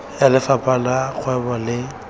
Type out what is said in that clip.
ya lefapha la kgwebo le